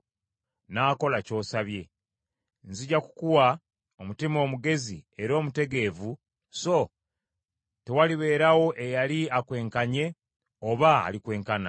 n’akola ky’osabye. Nzija kukuwa omutima omugezi era omutegeevu, so tewalibeerawo eyali akwenkanye oba alikwenkana.